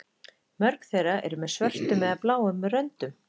Mörg þeirra eru með svörtum eða bláum röndum.